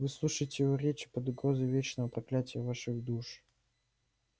вы слушаете его речи под угрозой вечного проклятия ваших душ